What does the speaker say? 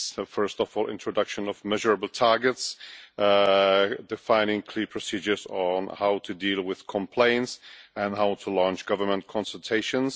First of all, an introduction of measurable targets defining clear procedures on how to deal with complaints and how to launch government consultations.